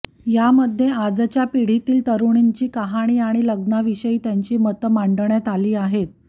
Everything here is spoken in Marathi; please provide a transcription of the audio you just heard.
यामध्ये आजच्या पिढीतील तरूणींची कहाणी आणि लग्नाविषयी त्यांची मतं मांडण्यात आली आहेत